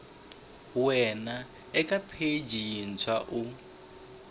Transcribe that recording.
wana eka pheji yintshwa u